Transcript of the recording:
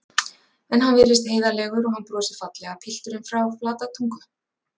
En hann virðist heiðarlegur og hann brosir fallega, pilturinn frá Flatatungu.